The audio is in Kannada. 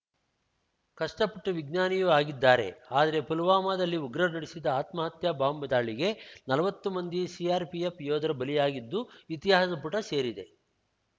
ಕಷ್ಟಪಟ್ಟು ವಿಜ್ಞಾನಿಯೂ ಆಗಿದ್ದಾರೆ ಆದರೆ ಪುಲ್ವಾಮದಲ್ಲಿ ಉಗ್ರರು ನಡೆಸಿದ ಆತ್ಮಹತ್ಯಾ ಬಾಂಬ್ ದಾಳಿಗೆ ನಲ್ವತ್ತು ಮಂದಿ ಸಿಆರ್‌ಪಿಎಫ್ ಯೋಧರು ಬಲಿಯಾಗಿದ್ದು ಇತಿಹಾಸದ ಪುಟ ಸೇರಿದೆ